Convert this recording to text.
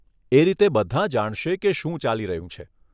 એ રીતે બધાં જાણશે કે શું ચાલી રહ્યું છે.